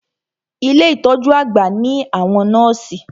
Ilé ìtọjú àgbà ní àwọn nọ́ọ̀sì.